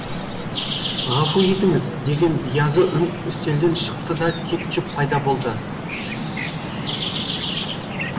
ғафу етіңіз деген биязы үн үстелден шықты да кетчуп пайда болды